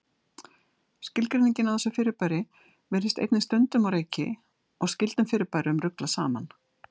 Skilgreiningin á þessu fyrirbæri virðist einnig stundum á reiki og skyldum fyrirbærum ruglað saman.